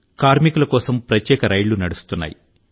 కార్మికుల కోసం ప్రత్యేక రైళ్లు నడుస్తున్నాయి